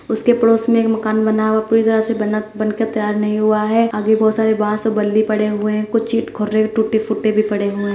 उसके पड़ोस में एक मकान बना है वो पूरी तरह से बना बन कर तैयार नहीं हुआ है। आगे बहुत सारे बांस ओर बल्ली पड़े हुए हैं। कुछ चिट खुररे टूटे-फूटे भी पड़े हुए हैं।